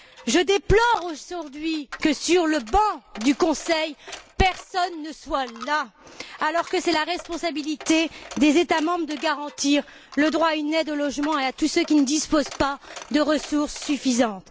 Je déplore aujourd'hui que, sur le banc du Conseil, personne ne soit là, alors que c'est la responsabilité des États membres de garantir le droit à une aide au logement à tous ceux qui ne disposent pas de ressources suffisantes.